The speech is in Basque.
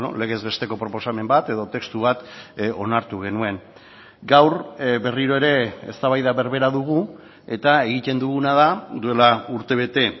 legez besteko proposamen bat edo testu bat onartu genuen gaur berriro ere eztabaida berbera dugu eta egiten duguna da duela urtebete